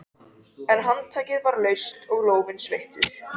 En handtakið var laust og lófinn sveittur.